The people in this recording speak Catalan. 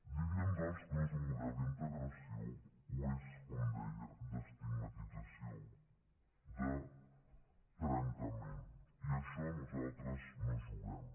diríem doncs que no és un model d’integració ho és com deia d’estigmatització de trencament i a això nosaltres no hi juguem